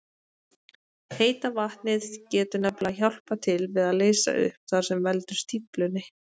Heita vatnið getur nefnilega hjálpað til við að leysa upp það sem veldur stíflunni.